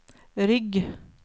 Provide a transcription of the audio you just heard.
rygg